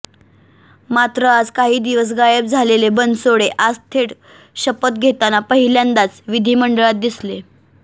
मात्र आज काही दिवस गायब झालेले बनसोडे आज थेट शपथ घेताना पहिल्यांदाच विधीमंडळात दिसले